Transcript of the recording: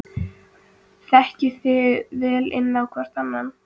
Þekkið þið vel inn á hvorn annan?